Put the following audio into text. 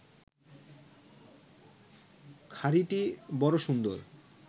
খাড়িটি বড় সুন্দর